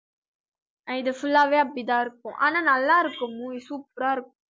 இது full லாவே அப்படி தான் இருக்கும் ஆனா நல்லாயிருக்கும் movie super ஆ இருக்கும்